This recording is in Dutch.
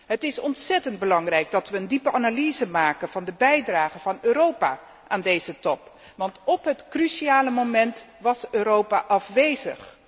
Het is ontzettend belangrijk dat we een diepgaande analyse maken van de bijdrage van Europa aan deze top, want op het cruciale moment was Europa afwezig.